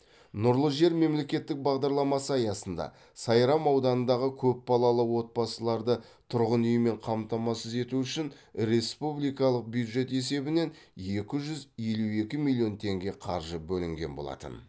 нұрлы жер мемлекеттік бағдарламасын аясында сайрам ауданындағы көпбалалы отбасыларды тұрғын үймен қамтамасыз ету үшін республикалық бюджет есебінен екі жүз елу екі миллион теңге қаржы бөлінген болатын